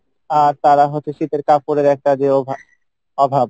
আর তারা হচ্ছে শীতের কাপরের একটা যে অভা~অভাব